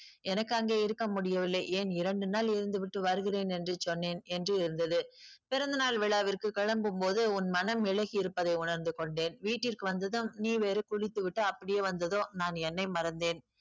எனக்கு அங்கே இருக்க முடியவில்லை ஏன் இரண்டு நாள் இருந்துவிட்டு வருகிறேன் என்று சொன்னேன் என்று இருந்தது பிறந்தநாள் விழாவிற்கு கிளம்பும் போது உன் மனம் இளகி இருப்பதை உணர்ந்து கொண்டேன் வீட்டிற்கு வந்ததும் நீ வேறு குளித்துவிட்டு அப்படியே வந்ததும் நான் என்னை மறந்தேன்